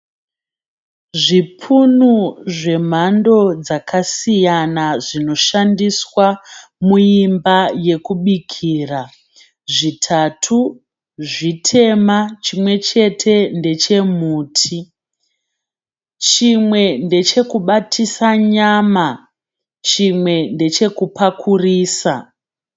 Zvipunu zvemhando dzakasiyana zvinoshandiswa muimba yekubikira. Zvitatu zvitema, chimwe chete ndechemuti. Chimwe ndeche kubatisa nyama. Chimwe ndechekupakurisa.